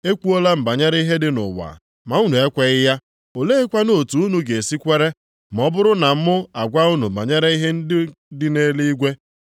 Ekwuola m banyere ihe dị nʼụwa ma unu ekweghị ya, oleekwanụ otu unu ga-esi kwere, ma ọ bụrụ na mụ agwa unu banyere ihe ndị dị nʼeluigwe?